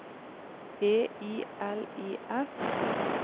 E I L I F